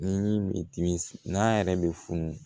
Ni dimi n'a yɛrɛ bɛ funu